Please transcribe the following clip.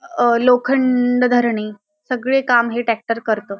अ लोखंड धरणी सगळे काम हे सगळे काम ट्रॅक्टर करत.